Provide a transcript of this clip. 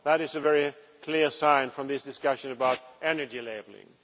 That is a very clear sign from this discussion about energy labelling.